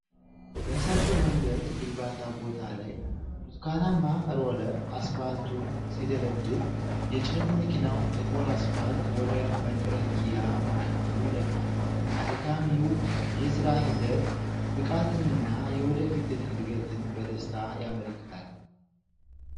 በሰፊው መንገድ ግንባታ ቦታ ላይ፣ ብርቱካናማ ሮለር አስፓልቱን ሲደለድል፣ የጭነት መኪናው ጥቁር አስፓልት ወደ መጥረጊያ ማሽኑ ይደፋል። አድካሚው የሥራ ሂደት ብቃትንና የወደፊት ዕድገትን በደስታ ያመለክታል።